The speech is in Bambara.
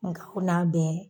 Nka o n'a bɛ.